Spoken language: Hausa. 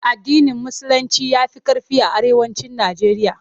AddinIn Musulinci ya fi ƙarfi a Arewacin Nijeriya.